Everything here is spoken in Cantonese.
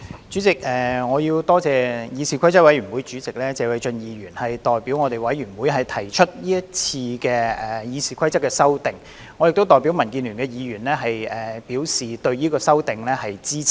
主席，我多謝議事規則委員會主席謝偉俊議員代表議事規則委員會提出是次的《議事規則》修訂，我亦代表民主建港協進聯盟的議員表示對這項修訂的支持。